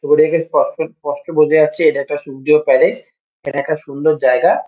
ছবি দেখে স্পষ্ট স্পষ্ট বোঝা যাচ্ছে এটা একটা সুন্দর প্যালেস । এটা একটা সুন্দর জায়গা।